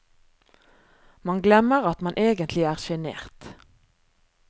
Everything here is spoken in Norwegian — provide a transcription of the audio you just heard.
Man glemmer at man egentlig er sjenert.